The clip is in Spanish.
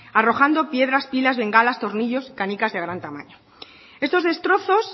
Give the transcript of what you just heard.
arrojando piedras pilas bengalas tornillos canicas de gran tamaño estos destrozos